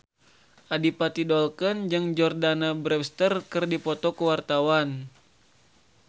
Adipati Dolken jeung Jordana Brewster keur dipoto ku wartawan